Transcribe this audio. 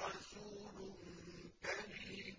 رَسُولٌ كَرِيمٌ